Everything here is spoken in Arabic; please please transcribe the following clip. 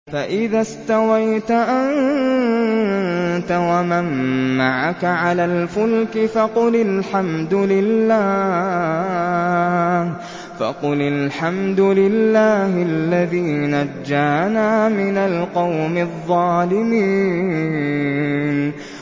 فَإِذَا اسْتَوَيْتَ أَنتَ وَمَن مَّعَكَ عَلَى الْفُلْكِ فَقُلِ الْحَمْدُ لِلَّهِ الَّذِي نَجَّانَا مِنَ الْقَوْمِ الظَّالِمِينَ